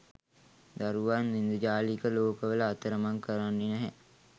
දරුවන් ඉන්ද්‍රජාලික ලෝකවල අතරමං කරන්නේ නැහැ